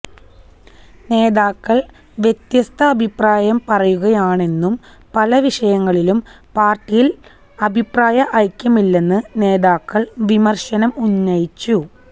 നേതാക്കള് വ്യത്യസ്ത അഭിപ്രായം പറയുകയാണെന്നും പല വിഷയങ്ങളിലും പാര്ട്ടിയില് അഭിപ്രായ ഐക്യമില്ലെന്ന് നേതാക്കൾ വിമർശനം ഉന്നയിച്ചു